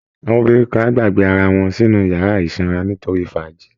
Àwọn obìnrin kan á gbàgbé ara wọn sínú yàrá ìsanra nítorí fàájì